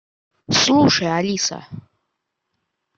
слушай алиса